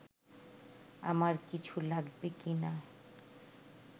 আমার কিছু লাগবে কি না